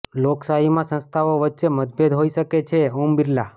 લોકશાહીમાં સંસ્થાઓ વચ્ચે મતભેદ હોઈ શકે છેઃ ઓમ બિરલા